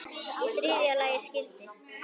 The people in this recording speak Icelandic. Í þriðja lagi skyldi